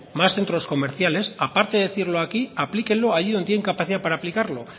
más centros comerciales aparte de decirlo aquí aplíquelo allí donde tienen capacidad de aplicarlo